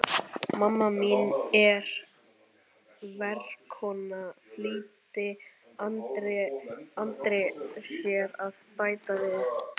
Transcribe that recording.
Mamma mín er verkakona, flýtti Andri sér að bæta við.